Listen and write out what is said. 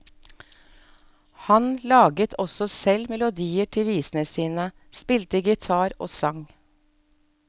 Han laget også selv melodier til visene sine, spilte gitar og sang.